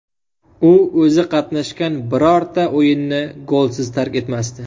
U o‘zi qatnashgan birorta o‘yinni golsiz tark etmasdi.